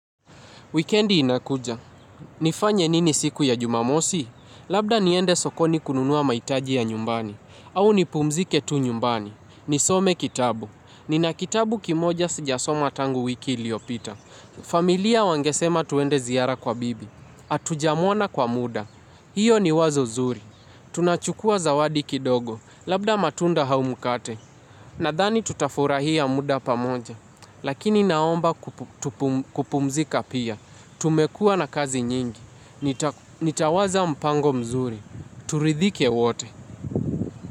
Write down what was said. Wikendi inakuja. Nifanye nini siku ya jumamosi? Labda niende sokoni kununua mahitaji ya nyumbani. Au nipumzike tu nyumbani. Nisome kitabu. Nina kitabu kimoja sijasoma tangu wiki iliyopita. Familia wangesema tuende ziara kwa bibi. Hatujamuona kwa muda. Hiyo ni wazo zuri. Tunachukua zawadi kidogo. Labda matunda haumukate. Nadhani tutafurahia muda pamoja, lakini naomba kupumzika pia, tumekua na kazi nyingi, nitawaza mpango mzuri, turidhike wote.